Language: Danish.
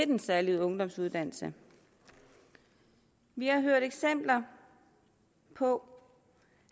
den særlige ungdomsuddannelse vi har hørt eksempler på